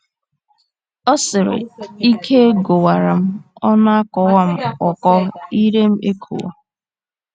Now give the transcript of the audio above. Ọ sịrị: "Ike gwụwara m, ọnụ akọwa m ọkọ, ire m ekowe.